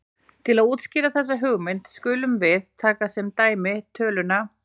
Til að útskýra þessa hugmynd skulum við taka sem dæmi töluna